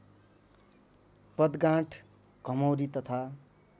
बदगांठ घमौरी तथा